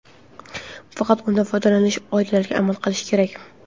Faqat undan foydalanish qoidalariga amal qilish kerak.